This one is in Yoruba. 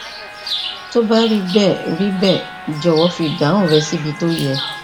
tó bá rí bẹẹ rí bẹẹ jọwọ fi ìdáhùn rẹ síbi tó yẹ